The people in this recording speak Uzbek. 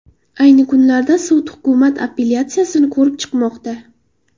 Ayni kunlarda sud hukumat apellyatsiyasini ko‘rib chiqmoqda.